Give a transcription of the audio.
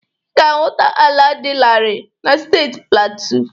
Ị ga-ahụta ala dị larịị na steeti platu.